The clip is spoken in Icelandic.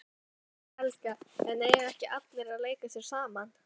Helga: En eiga ekki allir að leika sér saman?